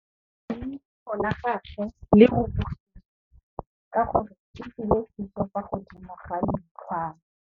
Leitlhô la gagwe le rurugile ka gore o tswile sisô fa godimo ga leitlhwana.